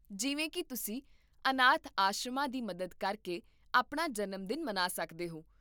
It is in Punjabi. ਜਿਵੇਂ ਕਿ ਤੁਸੀਂ ਅਨਾਥ ਆਸ਼ਰਮਾਂ ਦੀ ਮਦਦ ਕਰਕੇ ਆਪਣਾ ਜਨਮ ਦਿਨ ਮਨਾ ਸਕਦੇ ਹੋ